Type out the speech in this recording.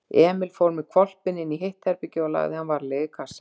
Emil fór með hvolpinn inní hitt herbergið og lagði hann varlega í kassann.